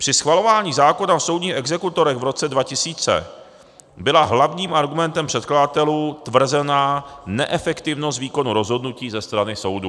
Při schvalování zákona o soudních exekutorech v roce 2000 byla hlavním argumentem předkladatelů tvrzená neefektivnost výkonu rozhodnutí ze strany soudů.